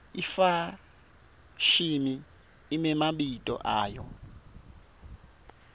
ifashimi imemabito ayo